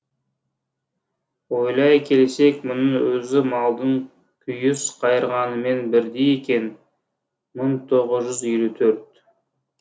ойлай келсек мұның өзі малдың күйіс қайырғанымен бірдей екен мың тоғыз жүз елу төрт